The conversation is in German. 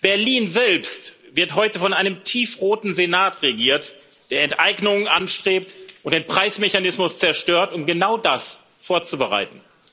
Berlin selbst wird heute von einem tiefroten Senat regiert, der Enteignungen anstrebt und den Preismechanismus zerstört, um genau das vorzubereiten.